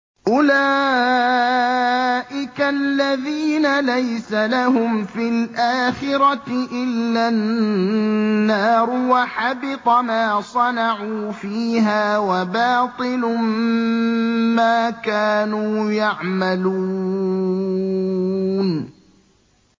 أُولَٰئِكَ الَّذِينَ لَيْسَ لَهُمْ فِي الْآخِرَةِ إِلَّا النَّارُ ۖ وَحَبِطَ مَا صَنَعُوا فِيهَا وَبَاطِلٌ مَّا كَانُوا يَعْمَلُونَ